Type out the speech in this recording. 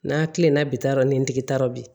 N'a kilenna bi taa yɔrɔ ni ntigi ta yɔrɔ bi